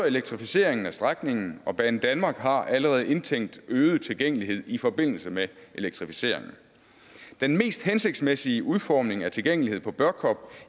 elektrificeringen af strækningen og banedanmark har allerede indtænkt øget tilgængelighed i forbindelse med elektrificeringen den mest hensigtsmæssige udformning af tilgængelighed på børkop